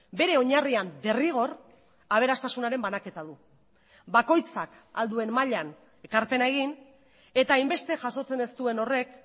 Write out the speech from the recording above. bere oinarrian derrigor aberastasunaren banaketa du bakoitzak ahal duen mailan ekarpena egin eta hainbeste jasotzen ez duen horrek